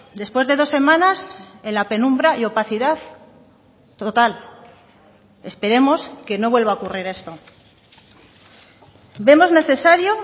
después de dos semanas en la penumbra y opacidad total esperemos que no vuelva a ocurrir esto vemos necesario